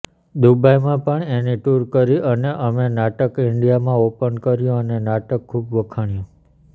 દુબઈમાં પણ એની ટુર કરી અને અમે નાટક ઇન્ડિયામાં ઓપન કર્યું અને નાટક ખૂબ વખણાયું